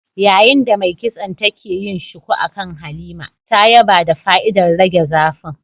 Yayin da mai kitson take yin shuku akan Halima, ta yaba da fa'idar rage zafin